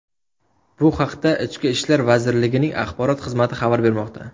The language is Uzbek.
Bu haqda Ichki ishlar vazirligining axborot xizmati xabar bermoqda.